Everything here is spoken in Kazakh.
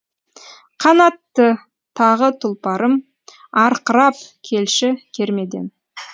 қанатты тағы тұлпарым арқырап келші кермеден